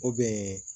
O bɛn